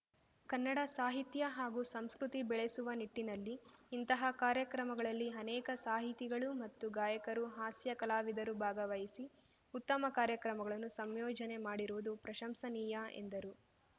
ಕನ್ನಡ ಸಾಹಿತ್ಯ ಹಾಗೂ ಸಂಸ್ಕೃತಿ ಬೆಳೆಸುವ ನಿಟ್ಟಿನಲ್ಲಿ ಇಂತಹ ಕಾರ್ಯಕ್ರಮಗಳಲ್ಲಿ ಅನೇಕ ಸಾಹಿತಿಗಳು ಮತ್ತು ಗಾಯಕರು ಹಾಸ್ಯ ಕಲಾವಿದರು ಭಾಗವಹಿಸಿ ಉತ್ತಮ ಕಾರ್ಯಕ್ರಮಗಳನ್ನು ಸಂಯೋಜನೆ ಮಾಡಿರುವುದು ಪ್ರಶಂಸನೀಯ ಎಂದರು